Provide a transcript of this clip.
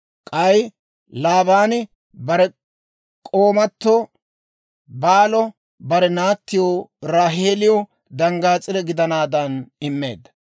K'ay Laabaani bare k'oomato Baalo bare naatti Raaheeliw danggaas'ire gidanaadan immeedda.